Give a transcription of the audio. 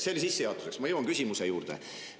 See oli sissejuhatuseks, nüüd ma jõuan küsimuse juurde.